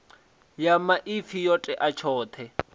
ya maipfi yo tea tshoṱhe